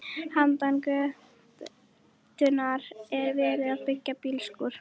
Handan götunnar er verið að byggja bílskúra.